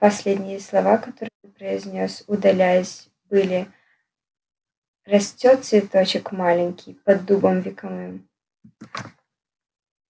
последние слова которые произнёс удаляясь были растёт цветочек маленький под дубом вековым